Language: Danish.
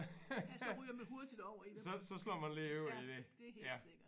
Ja så ryger man hurtigt over i det ja det er helt sikkert